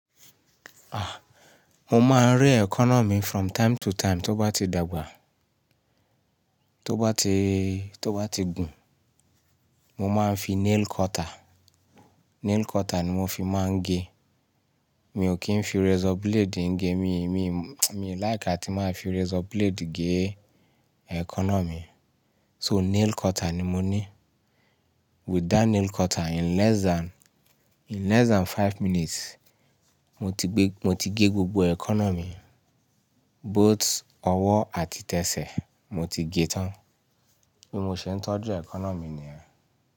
Ah, mo máa ń re eẹkọ́nà mi from time to time. Tó bá ti dàgbà, tó bá ti, tó bá ti gùn, mo máa ń fi nail cutter, nail cutter ni mo fi máa ń gé. Mi ò kí ń fi razor blade ń gé mi, mi, mi like àti máa fi razor blade gé ẹkọ́nà mi. So nail cutter ni mo ní. With that nail cutter in less than, in less than five minutes, mo ti gbé, mo ti gé gbogbo ẹkọ́nà mi, both ọwọ́ àti tẹsẹ̀, mo ti gé tán. Bí mo ṣe ń tọ́jú ẹkọ́nà mi ni yẹn.